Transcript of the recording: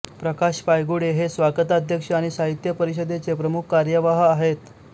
प्रकाश पायगुडे हे स्वागताध्यक्ष आणि साहित्य परिषदेचे प्रमुख कार्यवाह आहेत